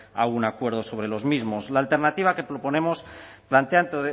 a un acuerdo sobre los mismos la alternativa que proponemos plantea